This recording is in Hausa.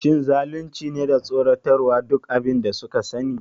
Shin zalunci ne da tsoratarwa duk abin da suka sani?